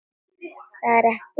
Það er ekki allt búið.